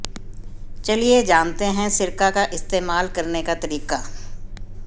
चलिए जानते हैं सिरका का इस्तेमाल करने का तरीका